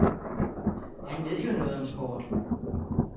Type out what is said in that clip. Han ved jo noget om sport.